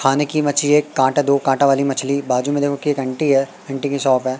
खाने की मछली एक कांटा दो कांटा वाली मछली बाजू में देखो की घंटी है घंटी की शॉप है।